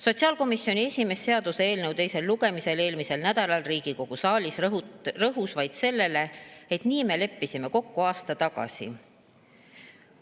Sotsiaalkomisjoni esimees rõhus eelmisel nädalal seaduseelnõu teisel lugemisel Riigikogus vaid sellele, et nii me leppisime kokku aasta tagasi.